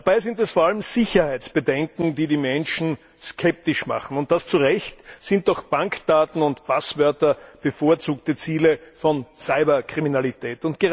Dabei sind es vor allem Sicherheitsbedenken, die die Menschen skeptisch machen, und das zu Recht, sind doch Bankdaten und Passwörter bevorzugte Ziele von Cyberkriminalität.